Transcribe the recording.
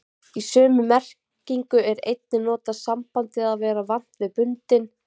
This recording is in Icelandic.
Í sömu merkingu er einnig notað sambandið að vera vant við bundinn.